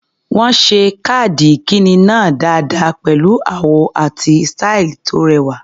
Wọ́n ṣe káàdì ìkíni náà dáadáa pẹ̀lú àwọ̀ àti sítàì tó rẹwà.